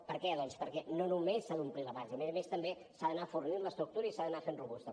per què doncs perquè no només s’ha d’omplir la base a més a més també s’ha d’anar fornint l’estructura i s’ha d’anar fent robusta